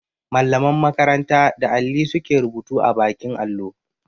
Mallaman makaranta da alli su ke rubutu a baƙin allo.